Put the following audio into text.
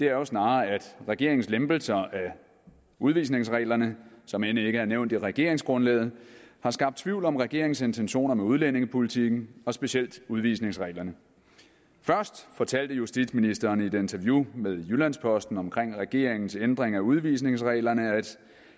er snarere at regeringens lempelser af udvisningsreglerne som end ikke er nævnt i regeringsgrundlaget har skabt tvivl om regeringens intentioner med udlændingepolitikken og specielt udvisningsreglerne først fortalte justitsministeren i et interview med jyllands posten om regeringens ændring af udvisningsreglerne at